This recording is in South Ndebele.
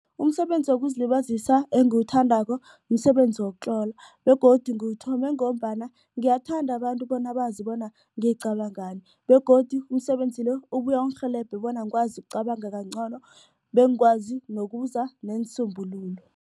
Umsebenzi wokuzilibazisa engiwuthandako msebenzi wokutlola begodu ngiwuthome ngombana ngiyathanda abantu bona bazi bona ngicabangani begodu umsebenzi lo ubuye ungirhelebhe bona ngikwazi ukucabanga kangcono bengikwazi ukuza neensombululo.